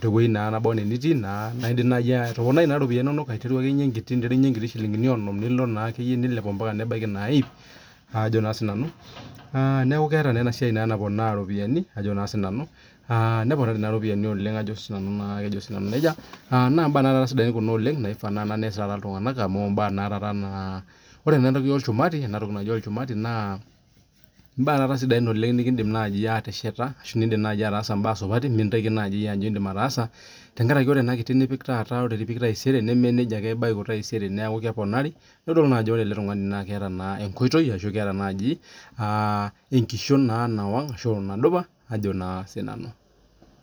tewueji naba enaa enetiu naidim naaji atoponai eropiani enono embaa ena nkuti shillingink onom nilo atabaiki ipp neeku keeta enasiai naponaa eropiani neponari eropiani oleng naa mbaa sidai Kuna Naivas neas iltung'ana amu ore naa mbaa olchumati naa mbaa sidain nikidim ateshet tenkaraki ore mbae nidim ataasa naa ore pipik taisere nemenejia ebaiki keponari Ajo keeta ele tung'ani enkoitoi ashu enkishon nawaag ashu enkishon nadupa Ajo naa sinanu